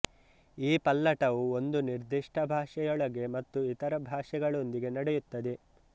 ಈ ಪಲ್ಲಟವು ಒಂದು ನಿರ್ದಿಷ್ಟ ಭಾಷೆಯೊಳಗೆ ಮತ್ತು ಇತರ ಭಾಷೆಗಳೊಂದಿಗೆ ನಡೆಯುತ್ತದೆ